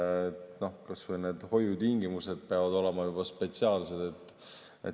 Kas või need hoiutingimused peavad olema spetsiaalsed.